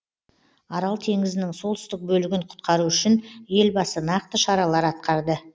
арал теңізінің солтүстік бөлігін құтқару үшін елбасы нақты шаралар атқарды